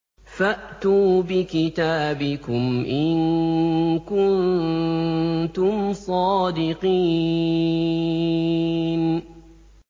فَأْتُوا بِكِتَابِكُمْ إِن كُنتُمْ صَادِقِينَ